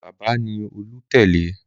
Bábà ni Olú tẹ́lẹ̀.